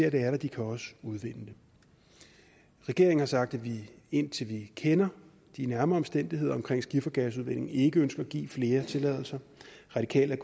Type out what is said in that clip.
at det er der de kan også udvinde det regeringen har sagt at vi indtil vi kender de nærmere omstændigheder omkring skifergasudvinding ikke ønsker at give flere tilladelser radikale er